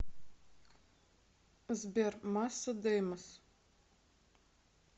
сбер масса деймос